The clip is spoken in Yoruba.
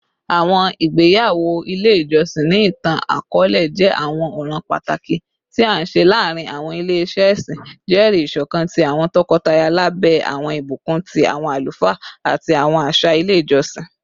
Awọn igbeyawo ile ijọsin, ni itan-akọọlẹ, jẹ awọn ọran pataki ti a nṣe laarin awọn ile-iṣẹ ẹsin, jẹri iṣọkan ti awọn tọkọtaya labẹ awọn ibukun ti awọn alufaa ati awọn aṣa ile ijọsin.